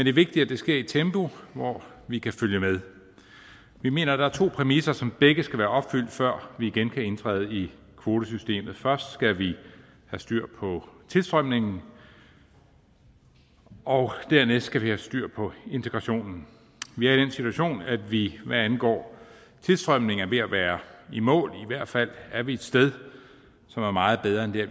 er vigtigt at det sker i et tempo hvor vi kan følge med vi mener der er to præmisser som begge skal være opfyldt før vi igen kan indtræde i kvotesystemet først skal vi have styr på tilstrømningen og dernæst skal vi have styr på integrationen vi er i den situation at vi hvad angår tilstrømning er ved at være i mål i hvert fald er vi et sted som er meget bedre end der